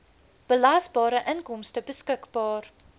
belasbare inkomste beskikbaar